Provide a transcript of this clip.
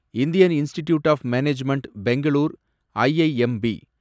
Indian institute of management Bangalore, IIMB